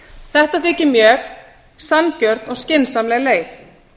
þetta þykir mér sanngjörn og skynsamleg leið